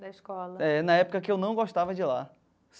Da escola. É, na época que eu não gostava de lá.